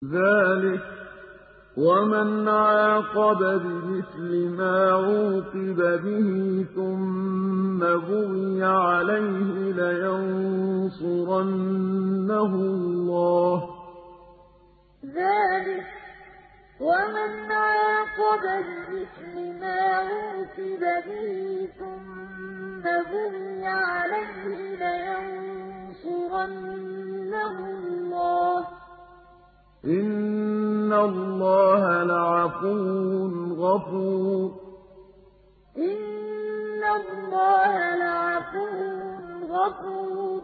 ۞ ذَٰلِكَ وَمَنْ عَاقَبَ بِمِثْلِ مَا عُوقِبَ بِهِ ثُمَّ بُغِيَ عَلَيْهِ لَيَنصُرَنَّهُ اللَّهُ ۗ إِنَّ اللَّهَ لَعَفُوٌّ غَفُورٌ ۞ ذَٰلِكَ وَمَنْ عَاقَبَ بِمِثْلِ مَا عُوقِبَ بِهِ ثُمَّ بُغِيَ عَلَيْهِ لَيَنصُرَنَّهُ اللَّهُ ۗ إِنَّ اللَّهَ لَعَفُوٌّ غَفُورٌ